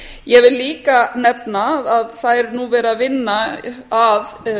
ég vil líka nefna að nú er verið að vinna að